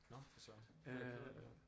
Nåh for Søren det er jeg ked af at høre